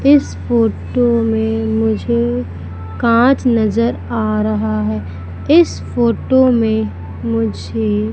इस फोटो में मुझे कांच नज़र आ रहा है इस फोटो मे मुझे--